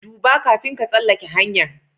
Dubba, kafin ka tsalake hanya'n.